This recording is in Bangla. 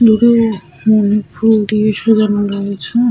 বিভিন্ন অনেক ফুল দিয়ে সাজানো রয়েছে।